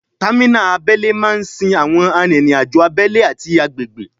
Támínà abẹ́lé máa ń sin àwọn arìnriǹ-àjò abẹ́lé ati agbègbè